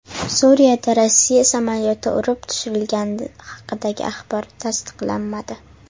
Suriyada Rossiya samolyoti urib tushirilgani haqidagi axborot tasdiqlanmadi.